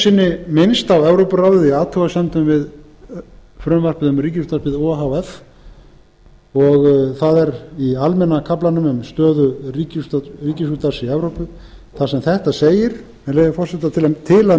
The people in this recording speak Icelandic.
sinni minnst á evrópuráðið í athugasemdum við frumvarpið um ríkisútvarpið o h f og það er í almenna kaflanum um stöðu ríkisútvarps í evrópu þar sem þetta segir með leyfi forseta til að